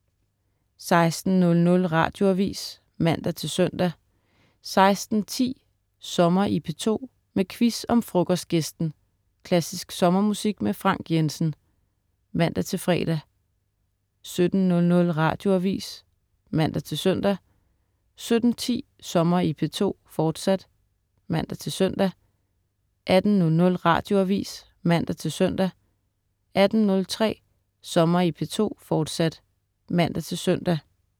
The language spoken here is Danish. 16.00 Radioavis (man-søn) 16.10 Sommer i P2, med quiz om Frokostgæsten. Klassisk sommermusik med Frank Jensen (man-fre) 17.00 Radioavis (man-søn) 17.10 Sommer i P2, fortsat (man-søn) 18.00 Radioavis (man-søn) 18.03 Sommer i P2, fortsat (man-søn)